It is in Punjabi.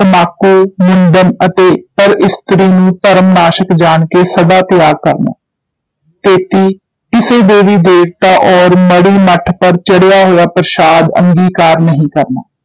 ਤੰਬਾਕੂ, ਮੁੰਡਨ ਅਤੇ ਪਰ ਇਸਤਰੀ ਨੂੰ ਧਰਮ ਨਾਸ਼ਕ ਜਾਣ ਕੇ ਸਦਾ ਤਿਆਗ ਕਰਨਾ, ਤੇਤੀ ਕਿਸੇ ਦੇਵੀ ਦੇਵਤਾ ਔਰ ਮੜ੍ਹੀ ਮੱਠ ਪਰ ਚੜ੍ਹਿਆ ਹੋਇਆ ਪ੍ਰਸ਼ਾਦ ਅੰਗੀਕਾਰ ਨਹੀਂ ਕਰਨਾ।